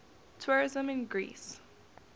tourism in greece